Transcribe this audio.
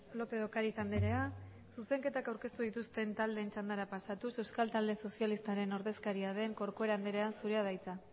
lópez de ocariz andrea zuzenketak aurkeztu dituzten taldeen txandara pasatuz euskal talde sozialista taldearen ordezkaria den corcuera anderea zurea da hitza